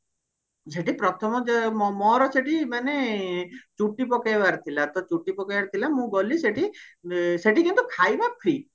ସେଠି ପ୍ରଥମ ଯେ ମୋ ମୋର ସେଠି ମାନେ ଚୁଟି ପକେଇବାର ଥିଲା ତ ଚୁଟି ପକେଇବାର ଥିଲା ମୁଁ ଗଲି ସେଠି ସେଠି କିନ୍ତୁ ଖାଇବା free